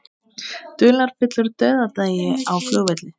Dularfullur dauðdagi á flugvelli